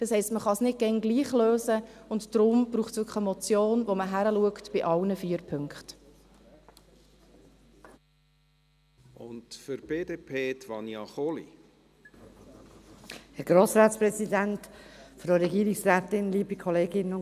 Das heisst, man kann es nicht immer gleich lösen, und deshalb braucht es wirklich eine Motion, bei der man bei allen vier Punkten hinschaut.